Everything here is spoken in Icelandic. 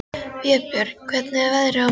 Vébjörn, hvernig er veðrið á morgun?